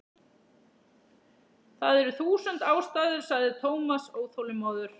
Það eru þúsund ástæður sagði Thomas óþolinmóður.